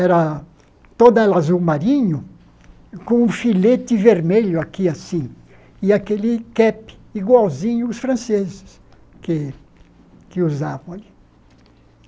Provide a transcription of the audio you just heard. Era toda ela azul marinho, com um filete vermelho aqui, assim, e aquele cap igualzinho os franceses que que usavam ali.